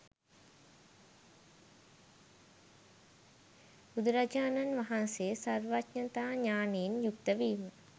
බුදුරජාණන් වහන්සේ සර්වඥතා ඥානයෙන් යුක්තවීම